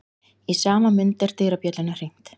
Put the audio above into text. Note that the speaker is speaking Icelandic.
Í sama mund er dyrabjöllunni hringt.